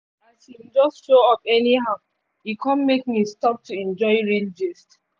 as him just show up anyhow e come make me stop to enjoy real gist